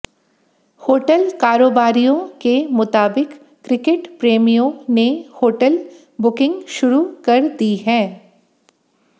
hotel कारोबारियों के मुताबिक क्रिकेट प्रेमियों ने होटल बुकिंग शुरू कर दी है